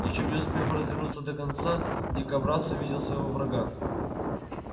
ещё не успев развернуться до конца дикобраз увидел своего врага